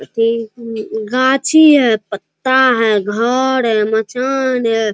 गाछी है पत्ता है घर है मचान है।